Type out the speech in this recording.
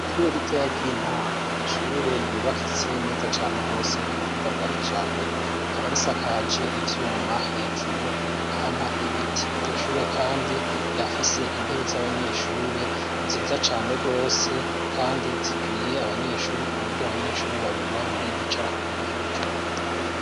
Ishure ritoya ry'intango n'ishure ryubakitse neza cane gose k'ubuhinga bwakijambere rikaba risakaje ivyuma hejuru apana ibiti. Iryoshure kandi rirafise intebe z'abanyeshure nziza cane gose kandi zikwiriye abanyeshuri k'uburyo abanyeshuri babiri babiri bicara kuntebe.